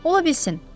Ola bilsin.